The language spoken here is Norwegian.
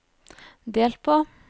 delt på